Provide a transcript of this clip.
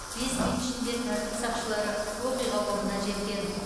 бес минут ішінде тәртіп сақшылары оқиға орнына жеткен